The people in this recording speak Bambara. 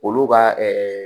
Olu ka